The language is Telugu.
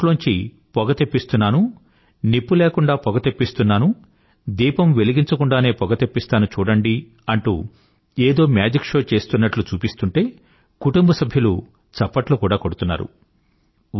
నా నోట్లోంచి పొగ తెప్పిస్తున్నాను నిప్పు లేకుండా పొగ తెప్పిస్తున్నాను దీపం వెలిగించకుండానే పొగతెప్పిస్తాను చూడండి అంటూ ఏదో మేజిక్ షో చేస్తున్నట్లు చూపిస్తుంటే కుటుంబసభ్యులు చప్పట్లు కూడా కొడుతున్నారు